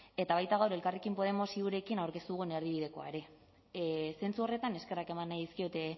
eta baita gaur elkarrekin podemos iurekin aurkeztu dugun erdibidekoa ere zentzu horretan eskerrak eman nahi dizkiot